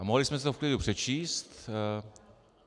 A mohli jsme si to v klidu přečíst.